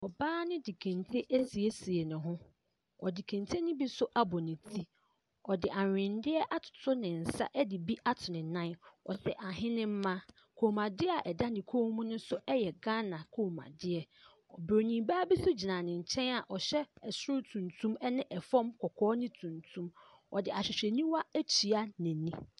Ɔbaa no de kente esiesie ne ho. Ɔde kente ne bi so abɔ ne ti. Ɔde ahweneɛ atoto ne nsa ɛde bi ato ne nan. Ɔhyɛ ahenema. Kɔn mu adeɛ ɛda ne kɔm mu no so ɛyɛ Ghana kɔm mu adeɛ. Broni baa bi so gyina ne nkyɛn a ɔhyɛ ɛsoro tuntum ɛne fɔm kɔkɔɔ ne tuntum. Ɔde ahwehwɛ niwa etua n'eni.